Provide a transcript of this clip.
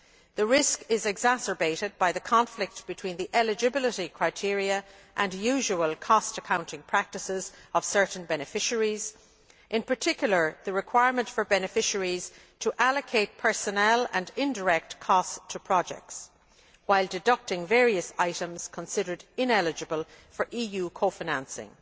The risk is exacerbated by the conflict between the eligibility criteria and the usual cost accounting practices of certain beneficiaries, in particular the requirement for beneficiaries to allocate personnel and indirect costs to projects while deducting various items considered ineligible for EU co financing.